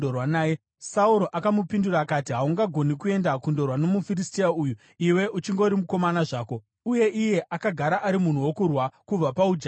Sauro akamupindura akati, “Haungagoni kuenda kundorwa nomuFiristia uyu; iwe uchingori mukomana zvako, uye iye akagara ari munhu wokurwa kubva paujaya hwake.”